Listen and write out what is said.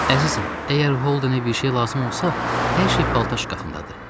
Əzizim, əgər Holdeni bir şey lazım olsa, hər şey paltar şkafındadır.